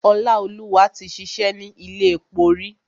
Ọláolúwa ti ṣìṣẹ́ ni ilé epo rí.